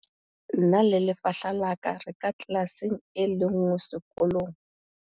nna le lefahla la ka re ka tlelaseng e le nngwe sekolong